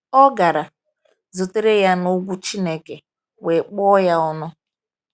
Ọ gara, zutere ya n’ugwu Chineke, wee kpọọ ya ọnụ.